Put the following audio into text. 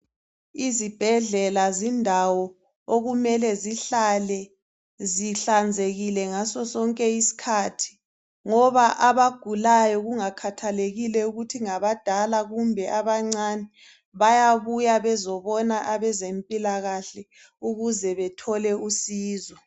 Izibhedlela zindawo okumele zihlale zihlanzekile ngaso sonke isikhathi ngoba abagulayo kungakhathalekile ukuthi ngabadala kumbe abancane bayabuya bezobona abezempilakahle ukuze bethole usizo.